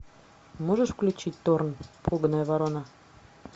можешь включить торн пуганая ворона